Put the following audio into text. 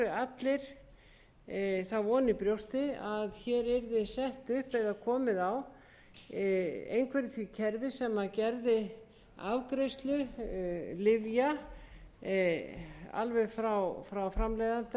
allir báru þá von í brjósti að hér yrði komið á einhverju því kerfi sem gerði afgreiðslu lyfja frá framleiðanda til neytenda